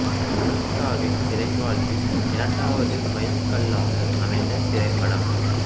அனுஷ்காவின் திரை வாழ்வில் இரண்டாவது மைல் கல்லாக அமைந்த திரைப்படம்